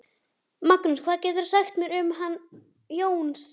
Magnús: Hvað geturðu sagt mér um hann Jónsa?